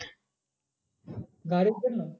গাড়ির জন্য?